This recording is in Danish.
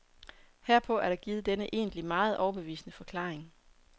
Herpå er der givet denne egentlig meget overbevisende forklaring.